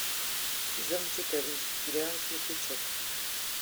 сезон четырнадцать сериал светлячок